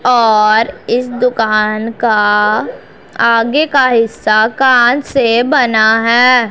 और इस दुकान का आगे का हिस्सा कांच से बना हैं।